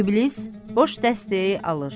İblis boş dəstəyi alır.